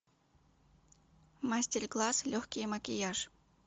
мастер класс легкий макияж